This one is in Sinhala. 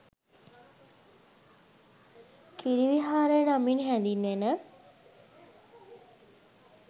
කිරි විහාරය නමින් හැඳින්වෙන